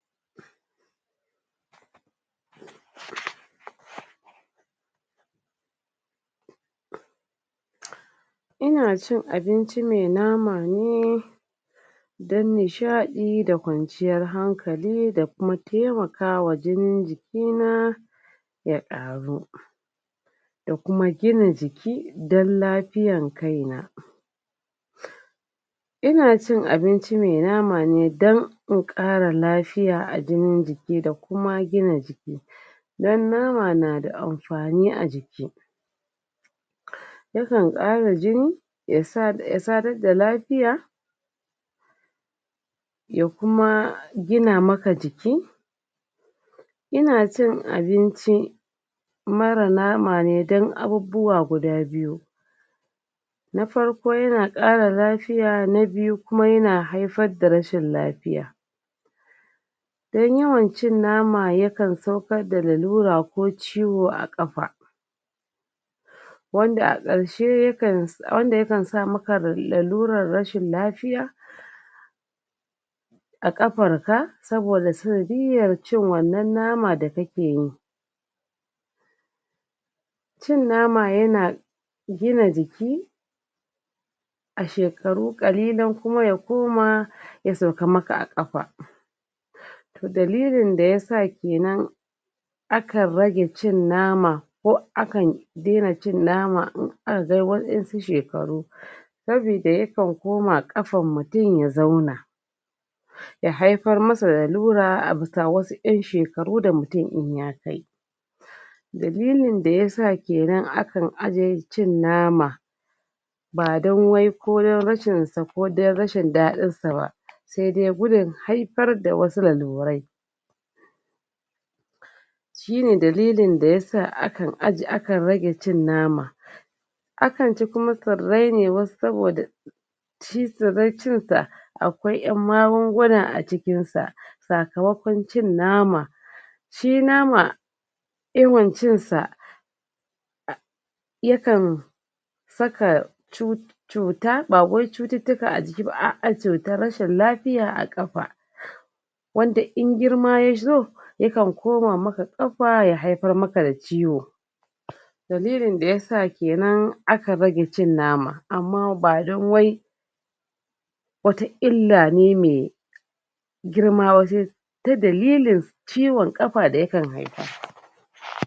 ina cin abinci mai nono ne dan nishadi da kwanciyar hankali da na taimaka wa jinin jiki na ya karu da kuma gina jiki dan lafiyar kai na ina cin abinci mai nama mai danko in kara lafiya a jinin jiki da gina jiki mai amfani a jiki nufin kara jini ya sadar da lafiya ya kuma gina maka jiki ina cin abinci mara nama mai dan abubuwa guda biyu na farko yana kara lafiya na biyu kuma yana haifar da rashin lafiya in yawan cin nama yayi ya kan saukar da lallura ko ciwo a kafa wanda a karshe yakan wanaa ya kan saka maka lallurar rashin lafiya a kafar ka sabida cin wannan nama da kake yi cin nama yana gina jiki da shekaru kalilin kuma ya koma ya sauka maka a kafa dalilin da yasa kenan aka rage cin nama ko akan jera cin nama aka kai wa'en su shekaru saboda yakan koma kafan mutum ya zauna ya haifar musu lallura a bisa wasu wasu en shekaru da mutum in ya kai dalilin da yasa kenan cin nama ba dan wai koyan rashin da ko dan rashin dadin sa ba sai dai gudun haifar da wasu lallurai shine dadilin da yasa akan ajiye rage cin nama akan ci kuma tsarai ne saboda su bar cin ta akwai en magunguna a cikin sa sakamakon cin nama shi nama yawan cin sa yakan saka cuta bawai cuttuka a jiki ba a'a cuta cutar rashin lafiya a kafa wanda in girma yazo yakan koma maka ko ya haifar maka da ciwo dalilin da yasa aka rage cin nama amma ba dan wai wata illa ne mai girma wajen ta dalilin ciwon kafa da kan